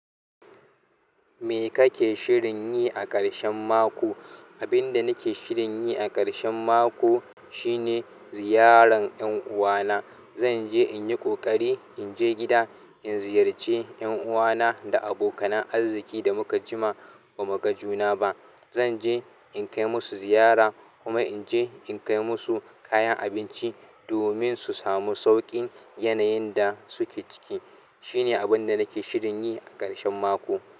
Me kake shirin yi a ƙarshen mako? Abin da nake shirin yi a ƙarshen mako shine ziyaran ƴan uwana. Zan je in yi ƙoƙari in je gida in ziyarci ƴan uwana da abokanan arziki da muka jima ba muga juna ba. Zan je in kai musu ziyara kuma in je in kai musu kayan abinci domin su samu sauƙin yanayin da suke ciki. Shine abin da nake shirin yi a ƙarshen mako.